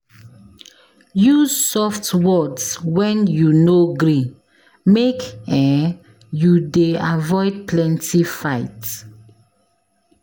Use soft words wen you no gree, make um you dey avoid plenty fight.